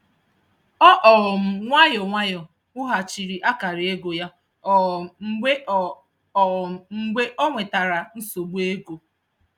Ọ um nwayọọ nwayọọ wughachiri akara ego ya um mgbe ọ um mgbe ọ nwetara nsogbu ego.